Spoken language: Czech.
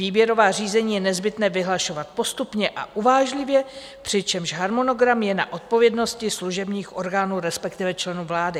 Výběrová řízení je nezbytné vyhlašovat postupně a uvážlivě, přičemž harmonogram je na odpovědnosti služebních orgánů, respektive členů vlády."